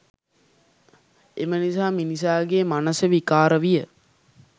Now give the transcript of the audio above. එම නිසා මිනිසාගේ මනස විකාර විය